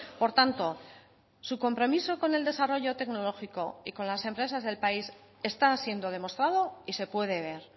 por tanto su compromiso con el desarrollo tecnológico y con las empresas del país está siendo demostrado y se puede ver